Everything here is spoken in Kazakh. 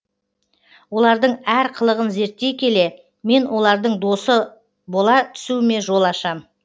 олардың әр қылығын зерттей келе мен олардың досы бола түсуіме жол ашам